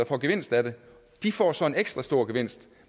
får gevinst af det de får så en ekstra stor gevinst